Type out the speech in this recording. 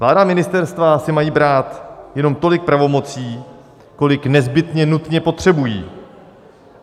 Vláda a ministerstva si mají brát jenom tolik pravomocí, kolik nezbytně nutně potřebují.